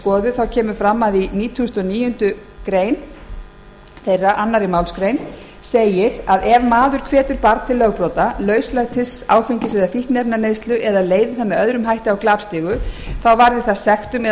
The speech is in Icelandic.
því að í annarri málsgrein nítugasta og níundu grein barnaverndarlaga segir að ef maður hvetur barn til lögbrota lauslætis áfengis eða fíkniefnaneyslu eða leiði það með öðrum hætti á glapstigu þá varði það sektum eða